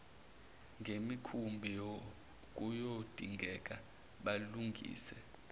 ngemikhumbi kuyodingeka balungise